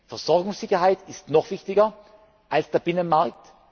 Versorgungssicherheit ist noch wichtiger als der Binnenmarkt.